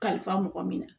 Kalifa mɔgɔ min na